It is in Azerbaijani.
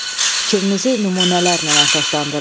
Fikrinizi nümunələrlə əsaslandırın.